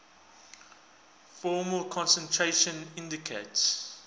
formal concentration indicates